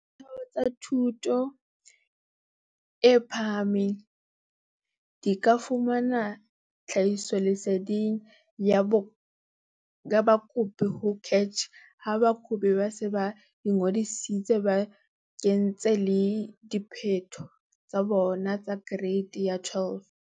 Ditheo tsa thuto e phahameng di ka fumana tlhahisoleseding ya bakopi ho CACH ha bakopi ba se ba ingodisitse ba kentse le diphetho tsa bona tsa Kereiti ya 12.